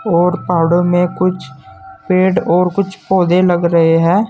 और पहाड़ों में कुछ पेड़ और कुछ पौधे लग रहे हैं।